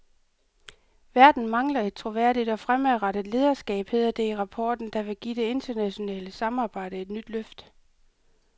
Verden mangler et troværdigt og fremadrettet lederskab, hedder det i rapporten, der vil give det internationale samarbejde et nyt løft.